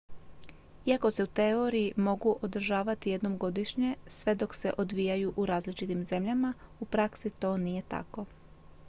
iako se u teoriji mogu održavati jednom godišnje sve dok se odvijaju u različitim zemljama u praksi to nije tako